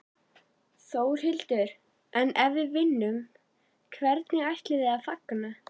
Þórhildur: En ef við vinnum, hvernig ætlið þið að fagna?